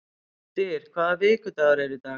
Styr, hvaða vikudagur er í dag?